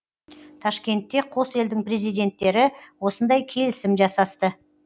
ташкентте қос елдің президенттері осындай келісім жасасты